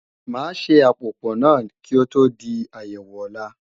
Máa ṣe àpòpò náà kí ó tó di àyẹ̀wò ọ̀la